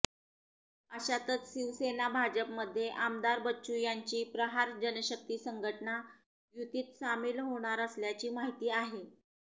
अशातच शिवसेना भाजपमध्ये आमदार बच्चू यांची प्रहार जनशक्ती संघटना युतीत सामील होणार असल्याची माहिती आहे